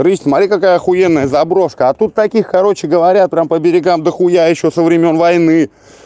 рысь смотри какая ахуенная заброшка а тут таких короче говоря прям по берегам дохуя ещё со времён войны